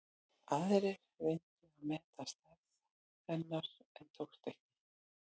Aðrir reyndu að meta stærð hennar en tókst ekki.